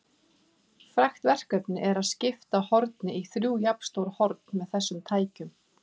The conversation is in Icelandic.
Frægt verkefni er að skipta horni í þrjú jafnstór horn með þessum tækjum.